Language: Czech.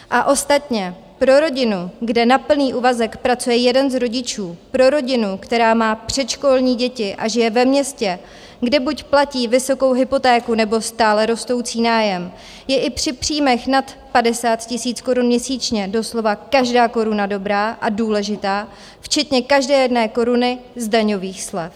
A ostatně, pro rodinu, kde na plný úvazek pracuje jeden z rodičů, pro rodinu, která má předškolní děti a žije ve městě, kde buď platí vysokou hypotéku nebo stále rostoucí nájem, je i při příjmech nad 50 000 korun měsíčně doslova každá koruna dobrá a důležitá, včetně každé jedné koruny z daňových slev.